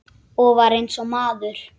Og var eins og maður.